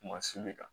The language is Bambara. Kumasulu kan